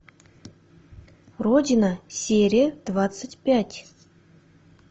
родина серия двадцать пять